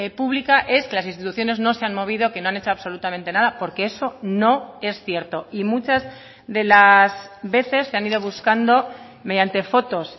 pública es que las instituciones no se han movido que no han hecho absolutamente nada porque eso no es cierto y muchas de las veces se han ido buscando mediante fotos